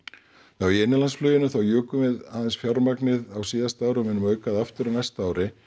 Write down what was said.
já í innanlandsfluginu þá jukum við aðeins fjármagnið á síðasta ári og munum auka það aftur á næsta ári